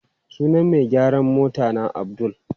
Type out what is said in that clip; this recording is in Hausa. Sunan mai gyaran motana Abdul.